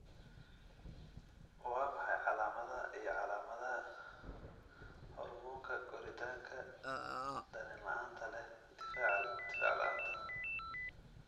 Waa maxay calaamadaha iyo calaamadaha hormoonka koritaanka dareen la'aanta leh difaac la'aanta?